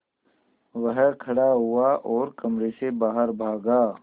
वह खड़ा हुआ और कमरे से बाहर भागा